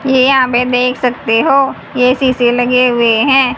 ये यहां पे देख सकते हो ये शीशे लगे हुए हैं।